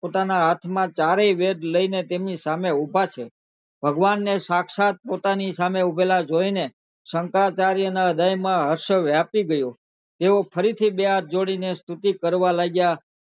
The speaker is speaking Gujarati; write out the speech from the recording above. પોતાના હાથ માં ચારેય વેદ લઇ ને તેમની સામે ઉભા છે ભગવાનને શાક્ષાત પોતાની સામે ઊભેલા જોઈને શંકરાચાર્ય હૃદય માં હર્ષ વ્યાપી ગયો તેઓ ફરી થી બે હાથ જોડી સ્તૃતિ કરવા લાગ્યા